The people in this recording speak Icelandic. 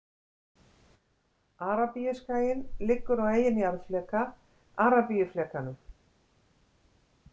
Arabíuskaginn liggur á eigin jarðfleka, Arabíuflekanum.